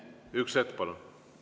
Üks hetk, palun!